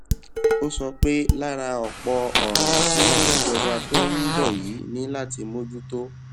ó sọ pé lára ọpọ òràn tí ìjọba tó ń bọ yìí ní láti bójú tó